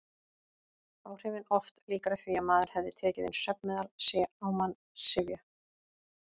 Áhrifin oft líkari því að maður hefði tekið inn svefnmeðal: sé á mann syfja.